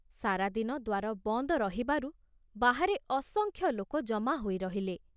ସାରାଦିନ ଦ୍ଵାର ବନ୍ଦ ରହିବାରୁ ବାହାରେ ଅସଂଖ୍ୟଲୋକ ଜମା ହୋଇ ରହିଲେ।